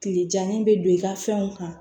Tile janni bɛ don i ka fɛnw kan